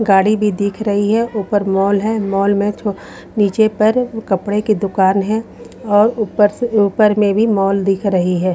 गाड़ी भी दिख रही है ऊपर मॉल है मॉल में नीचे पर कपड़े की दुकान है और ऊपर से ऊपर में भी मॉल दिख रही है।